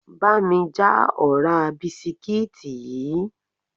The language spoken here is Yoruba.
Bá mi já ọ̀rá bisikíìtì yìí!